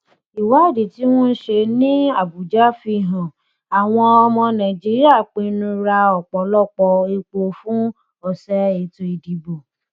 ìwádìí tí wọn ṣe ní abuja fihàn àwọn ọmọ nàìjíríà pinnu ra ọpọlọpọ epo fún ọsẹ ètò ìdìbò